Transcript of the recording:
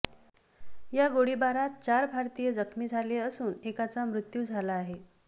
या गोळीबार चार भारतीय जखमी झाले असून एकाच मृत्यू झाला आहे